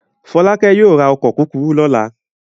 Fọ́lákẹ́ yóò ra ọkọ̀ kúkúrú lọ́la.